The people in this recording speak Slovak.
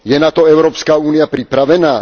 Je na to Európska únia pripravená?